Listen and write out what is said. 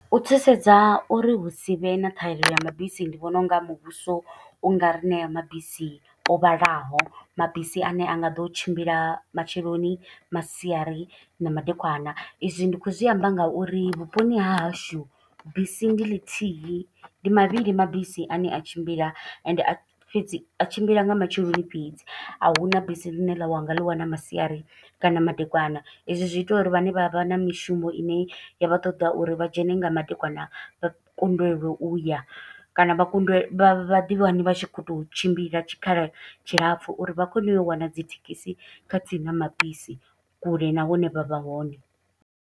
U thusedza uri hu si vhe na ṱhahelelo ya mabisi, ndi vhona unga muvhuso u nga ri ṋea mabisi o vhalaho. Mabisi ane a nga ḓo tshimbila matsheloni, masiari, na madekwana. I zwi ndi khou zwi amba nga uri vhuponi ha hashu, bisi ndi ḽithihi, ndi mavhili mabisi ane a tshimbila. Ende fhedzi a tshimbila nga matsheloni fhedzi, a huna bisi ḽine ḽa wanga ḽi wana masiari kana madekwana. Hezwi zwi ita uri vhane vha vha na mishumo ine ya vha ṱoḓa ya uri vha dzhene nga madekwana, vha kundelwe uya kana vha kunde vha vha ḓi wane vha tshi khou to u tshimbila tshikhala tshilapfu. Uri vha kone u yo wana dzi thekhisi, kha na mabisi, kule na hune vha vha hone.